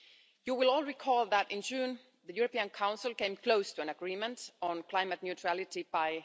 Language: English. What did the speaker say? You will all recall that in June the European Council came close to an agreement on climate neutrality by